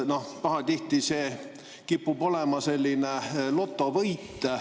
Pahatihti kipub see olema selline lotovõit.